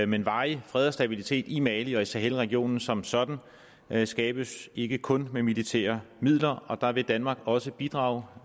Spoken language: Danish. men varig fred og stabilitet i mali og i sahelregionen som sådan skabes ikke kun med militære midler og der vil danmark også bidrage